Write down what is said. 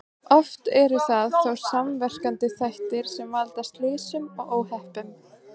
Oft eru það þó samverkandi þættir sem valda slysum og óhöppum.